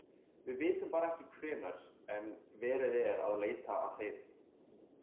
Við vitum bara ekki hvenær en verið er að leita að þeim.